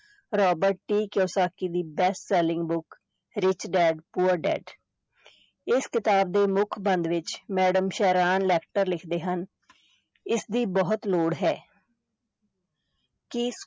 Robert T Kiyosaki ਦੀ best selling book rich dad poor dad ਇਸ ਕਿਤਾਬ ਦੇ ਮੁੱਖ ਬੰਦ ਵਿੱਚ madam ਸੈਰਾਨ ਲੈਕਟਰ ਲਿਖਦੇ ਹਨ ਇਸਦੀ ਬਹੁਤ ਲੋੜ ਹੈ ਕੀ